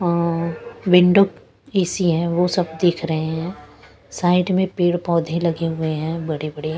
अ अ अ window AC है वो सब दिख रहे हैं साइड में पेड़ पौधे लगे हुए हैं बड़े--